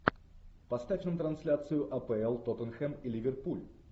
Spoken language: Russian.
поставь нам трансляцию апл тоттенхэм и ливерпуль